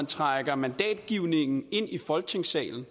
trække mandatgivningen ind i folketingssalen